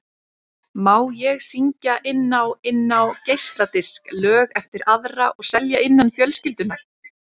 Má ég syngja inn á inn á geisladisk lög eftir aðra og selja innan fjölskyldunnar?